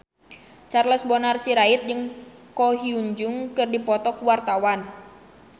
Charles Bonar Sirait jeung Ko Hyun Jung keur dipoto ku wartawan